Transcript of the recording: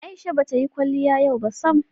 Aisha ba ta yi kwaliya yau ba sam.